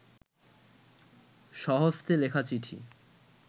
স্বহস্তে লেখা চিঠি